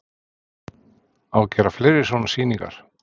Á að gera fleiri svona sýningar?